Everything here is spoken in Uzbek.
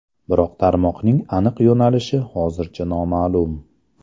Biroq tarmoqning aniq yo‘nalishi hozircha noma’lum.